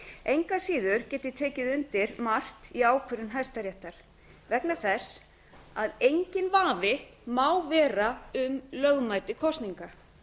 engu að síður get ég tekið undir margt í ákvörðun hæstaréttar vegna þess að enginn vafi má vera um lögmæti kosninga